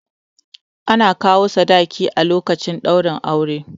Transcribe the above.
Ana kawo sadaki a lokacin ɗaurin aure